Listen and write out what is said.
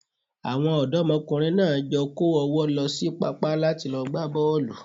Àwọn ọ̀dọ́mọkùnrin náà jọ kó ọ̀wọ́ lọ sí pápá láti lọ gbá bọ́ọ̀lù.